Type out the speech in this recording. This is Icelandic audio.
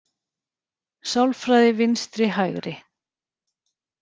Sálfræði vinstri-hægri